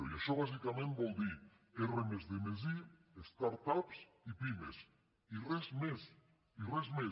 i això bàsicament vol dir r+d+i start ups i pimes i res més i res més